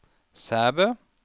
Sæbø